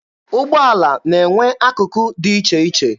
Ụgbọala na-enwe akụkụ dị iche iche.